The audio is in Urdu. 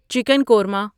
چکن کورما